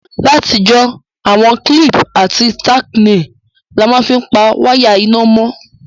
Látijọ́, àwon clip àti tacknails la ma n fi pa wire iná mó